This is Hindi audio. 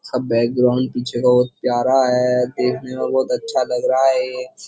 सब बैकग्राउंड पीछे का बहोत प्यारा है। देखने में बहोत अच्छा लग रहा है।